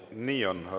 Nii on.